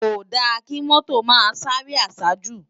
Kódá ki mòtó má sáré àsájú